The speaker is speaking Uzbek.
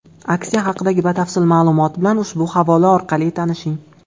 Aksiya haqidagi batafsil ma’lumot bilan ushbu havola orqali tanishing.